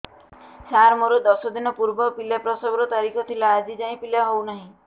ସାର ମୋର ଦଶ ଦିନ ପୂର୍ବ ପିଲା ପ୍ରସଵ ର ତାରିଖ ଥିଲା ଆଜି ଯାଇଁ ପିଲା ହଉ ନାହିଁ